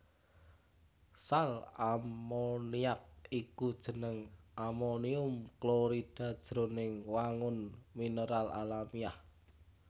Sal ammoniac iku jeneng amonium klorida jroning wangun mineral alamiah